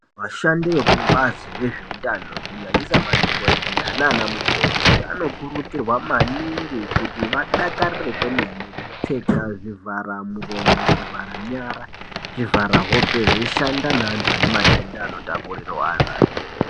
Vashandi vekubazi rezveutano kunyanyisa madhokoteya nana mukoti anokurudzirwa maningi kuti vadakarire kwemene kupfeka zvivhara muromo kana nyara, zvivhara hope veishanda nevantu vane matenda anotapurirwana.